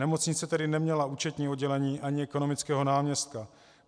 Nemocnice tedy neměla účetní oddělení ani ekonomického náměstka.